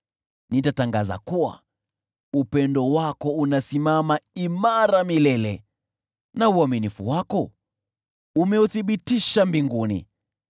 Nitatangaza kuwa upendo wako unasimama imara milele na uaminifu wako umeuthibitisha mbinguni.